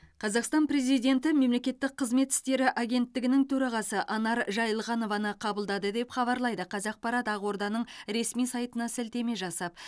қазақстан президенті мемлекеттік қызмет істері агенттігінің төрағасы анар жайылғанованы қабылдады деп хабарлайды қазақпарат ақорданың ресми сайтына сілтеме жасап